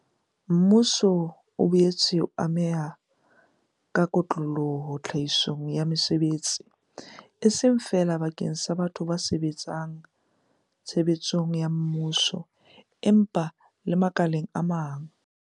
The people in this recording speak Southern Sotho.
Mmuso o boetse o ameha ka kotloloho tlhahisong ya mesebetsi, e seng feela bakeng sa batho ba sebetsang tshebeletsong ya mmuso, empa le makaleng a mang.